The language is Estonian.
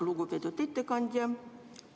Lugupeetud ettekandja!